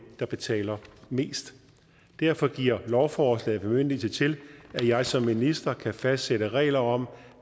der betaler mest derfor giver lovforslaget bemyndigelse til at jeg som minister kan fastsætte regler om